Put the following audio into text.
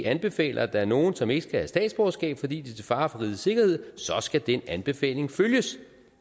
anbefaler at der er nogen som ikke skal have statsborgerskab fordi de er til fare for rigets sikkerhed så skal den anbefaling følges